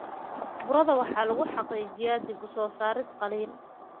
Burada waxaa lagu xaqiijiyaa dib-u-soo-saarid qalliin.